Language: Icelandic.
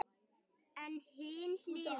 En hin hliðin.